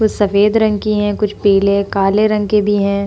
कुछ सफ़ेद रंग की है कुछ पीले काले रंग के भी है।